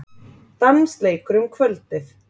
Dansleikur um kvöldið.